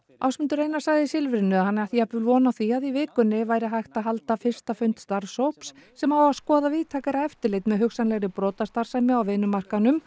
Ásmundur Einar sagði í Silfrinu að hann ætti jafnvel von á því að í vikunni væri hægt að halda fyrsta fund starfshóps sem á að skoða víðtækara eftirlit með hugsanlegri brotastarfsemi á vinnumarkaðnum